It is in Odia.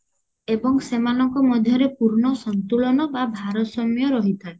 ଏବଂ ସେମାନଙ୍କ ମଧ୍ୟରେ ପୂର୍ଣ ସନ୍ତୁଳନ ବା ଭାରସାମ୍ୟ ରହିଥାଏ